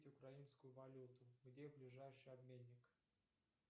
украинскую валюту где ближайший обменник